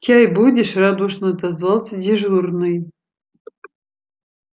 чай будешь радушно отозвался дежурный